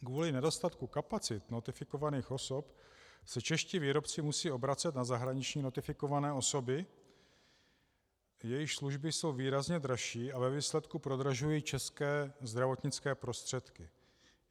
Kvůli nedostatku kapacit notifikovaných osob se čeští výrobci musí obracet na zahraniční notifikované osoby, jejichž služby jsou výrazně dražší a ve výsledku prodražují české zdravotnické prostředky.